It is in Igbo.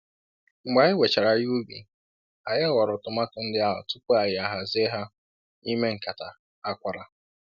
Mgbe anyị wechara ihe ubi, anyị họrọ tomato ndị ahụ tupu anyị a hazie ha n'ime nkata akwara.